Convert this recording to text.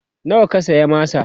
nawa ka saya masa?